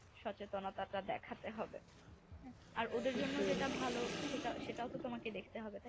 সচেতনা দেখাতে হবে। আর ওদের জন্য যেটা ভালো সেটাও তো তোমাকে দেখতে হবে তাই না